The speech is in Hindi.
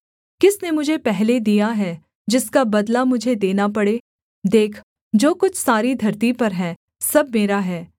किसने मुझे पहले दिया है जिसका बदला मुझे देना पड़े देख जो कुछ सारी धरती पर है सब मेरा है